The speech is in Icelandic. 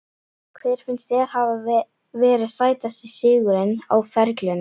Hver finnst þér hafa verið sætasti sigurinn á ferlinum?